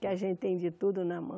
Que a gente tem de tudo na mão.